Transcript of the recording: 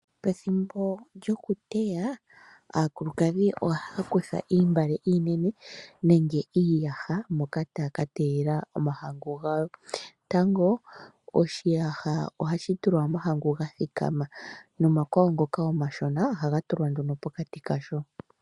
Pethimbo lyokuteya aakulukadhi ohaya kutha iimbale iinene nenge iiyasha moka taya ka teyelela omahangu gawo. Tango oshiyasha ohashi tulwa omahangu gathikama nomakwawo ngoka omashona ohaga tulwa nduno pokati kasho.